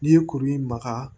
N'i ye kuru in maga